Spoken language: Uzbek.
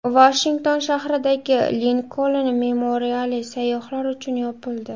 Vashington shahridagi Linkoln memoriali sayyohlar uchun yopildi.